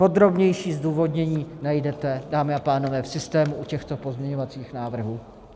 Podrobnější zdůvodnění najdete, dámy a pánové, v systému u těchto pozměňovacích návrhů.